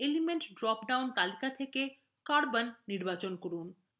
element drop down তালিকা থেকে carbon নির্বাচন করুন